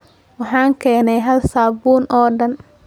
Waxaan keenay hal saabuun oo dhan.